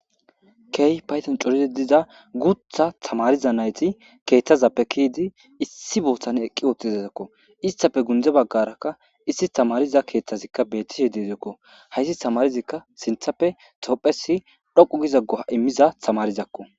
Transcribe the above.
Key payten coride diza gutha tamariza nayti keeththazappe kiyidi issi booththan eqqi ootizezakko istafe gundze baggarakka issi tamariza keeththazikka bettishe deedeekko hayssi tamarizikka sinthappe topphesi dhoqu gizaggoa immiza tamarizakko.